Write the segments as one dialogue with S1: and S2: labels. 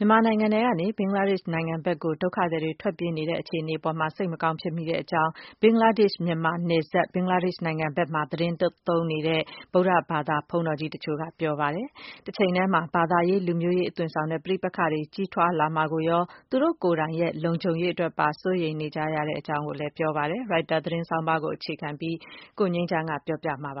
S1: မြန်မာနိုင်ငံထဲကနေ ဘင်္ဂလားဒေ့ရှ်နိုင်ငံကို ဒုက္ခသည်တွေ ထွက်ပြေးလာနေတဲ့ အခြေအနေအပေါ် စိတ်မကောင်းဖြစ်မိတဲ့အကြောင်း ဘင်္ဂလားဒေ့ရှ် မြန်မာနယ်စပ်၊ ဘင်္ဂလားဒေ့ရှ်နိုင်ငံအတွင်းမှာ သီတင်းသုံးနေတဲ့ ဗုဒ္ဓဘာသာ ဘုန်းတော်ကြီး တချို့က ပြောဆိုပါတယ်။ တချိန်တည်းမှာ ဘာသာရေး လူမျိုးရေး အသွင်ဆောင်တဲ့ ပဋိပက္ခတွေ ကြီးထွားလာမှာ စိုးရိမ်တဲ့အတွက် သူတို့ လုံခြုံရေးအတွက် စိုးရိမ်တဲ့အကြောင်း ပြောဆိုကြပါတယ်။ Reuters သတင်းဆောင်းပါးတပုဒ်ကို ကိုငြိမ်းချမ်းက ပြောပြပါလိမ့်မယ်။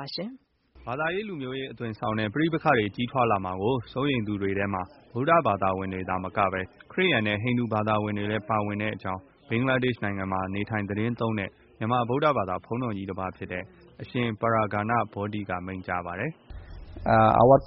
S2: ဘာသာရေး လူမျိုးရေး အသွင်ဆောင်တဲ့ ပဋိပက္ခတွေ ကြီးထွားလာမှာကို စိုးရိမ်သူတွေထဲမှာ ဗုဒ္ဓဘာသာဝင်တွေတင် သာမကပဲ ခရစ်ယာန်နဲ့ ဟိန္ဒူဘာသာဝင်တွေလည်း ပါဝင်တဲ့အကြောင်း ဘင်္ဂလားဒေ့ရှ်နိုင်ငံမှာ နေထိုင် သတင်းသုံးတဲ့ မြန်မာ ဗုဒ္ဓဘာသာ တပါးဖြစ်တဲ့ အရှင် Praghna Bodhi က မိန့်ကြားပါတယ်။ “
S3: ဦးပဉ္စ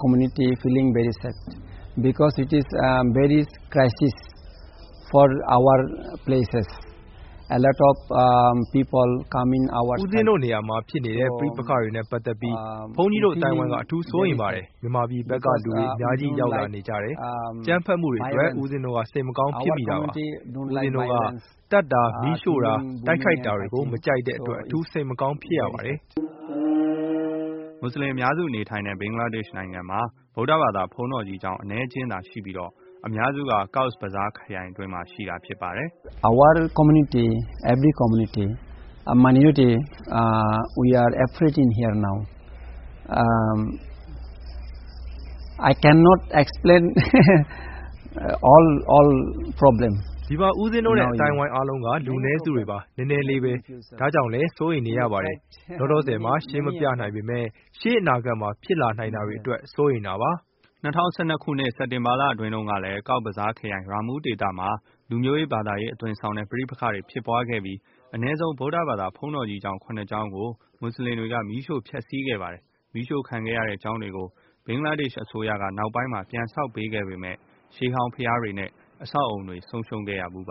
S3: င်းတို့ နေရာမှာ ဖြစ်နေတဲ့ ပဋိပက္ခတွေနဲ့ ပတ်သက်ပြီး ဘုန်း
S2: ကြီးတို့ အသိုင်းအဝိုင်းက အ
S4: ထူးစိုးရိမ်ပါတယ်။ မြန်မာပြည်ဘက်က လူတွေ အများကြီးရောက်လာနေကြတယ်။ အကြမ်းဖက်မှုတွေ အတွက် ဦးပဉ္စင်း တို့က စိတ်မကောင်းဖြစ်မိတာပါ။ ဦးပဉ္စင်း တို့က သတ်တာ၊ မီးရှို့တာ၊ တိုက်ခိုက်တာတွေကို မကြိုက်တဲ့အတွက် အထူး စိတ်မကောင်းဖြစ်ရပါတယ်။
S2: ” မူဆလင်အများစု နေထိုင်တဲ့ ဘင်္ဂလားဒေ့ရှ်နိုင်ငံမှာ ဗုဒ္ဓဘာသာ ဘုန်းတော်ကြီးကျောင်း အနည်းအကျဉ်းသားရှိပြီး အများစုက Cox's Bazar ခရိုင်အတွင်းမှာ ဖြစ်ပါတယ်။ “ ဒီမှ
S3: ာ ဦးပဉ္စင်
S4: းတို့နဲ့ အသိုင်းအဝိုင်း အားလုံးက လူနည်းစုတွေပါ။ နည်းနည်းလေးပဲ ဒါကြောင့်လည်း စိုးရိမ်နေရတယ်။ လောလောဆယ် မှာ ရှင်းမပြနိုင်ပေမဲ့ ရှေ့အနာ
S2: ဂတ်မှာ ဖြစ်လာနိုင်တာတွေအတွက် စိုးရိမ်တာပါ။” ၂၀၁၂ ခုနှစ် စက်တင်ဘာလအတွင်းကလည်း ကောက်ဇ်ဘဇားခရိုင် ရာမူး ဒေသမှာ လူမျိုးရေး ဘာသာရေးအသွင်ဆောင်တဲ့ ပဋိပက္ခတွေ ဖြစ်ပွားခဲ့ပြီး အနည်းဆုံး ဗုဒ္ဓဘာသာ ဘုန်းတော်ကြီးကျောင်း ၇ ကျောင်းကို မူဆလင်တွေက မီးရှို့ဖျက်ဆီးခဲ့ပါတယ်။ မီးရှို့ခံခဲ့ရတဲ့ ကျောင်းတွေကို ဘင်္ဂလားဒေ့ရှ်အစိုးရက နောက်ပိုင်းမှာ ပြန်ဆောက်ပေးခဲ့ပေမယ့် ရှေးဟောင်း ဘုရားတွေနဲ့ အဆောက်အအုံတွေ ဆုံးရှုံးခဲ့ဖူး ပါ